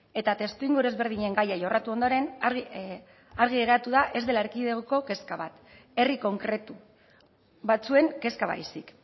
eta testuinguru ezberdinen gaia jorratu ondoren argi geratu da ez dela erkidegoko kezka bat herri konkretu batzuen kezka baizik